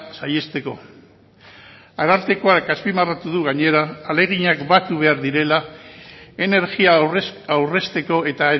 saihesteko arartekoak azpimarratu du gainera ahaleginak batu behar direla energia aurrezteko eta